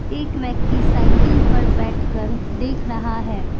एक व्यक्ति साइकिल पर बैठ कर देख रहा है।